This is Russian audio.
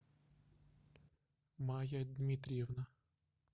майя дмитриевна